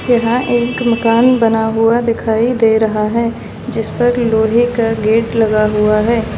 यहां एक मकान बना हुआ दिखाई दे रहा है जिस पर लोहे का गेट लगा हुआ है।